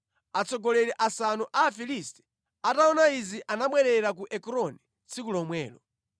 Atsogoleri asanu a Afilisti ataona izi anabwerera ku Ekroni tsiku lomwelo.